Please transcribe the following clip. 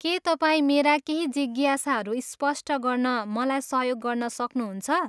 के तपाईँ मेरा केही जिज्ञासाहरू स्पष्ट गर्न मलाई सहयोग गर्न सक्नुहुन्छ?